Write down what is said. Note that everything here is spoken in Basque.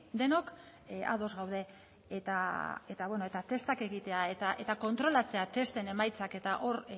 denok ados gaude eta bueno eta testak egitea eta kontrolatzea testen emaitzak eta